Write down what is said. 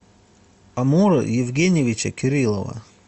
амура евгеньевича кириллова